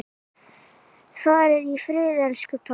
Far í friði, elsku pabbi!